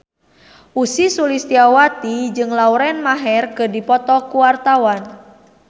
Ussy Sulistyawati jeung Lauren Maher keur dipoto ku wartawan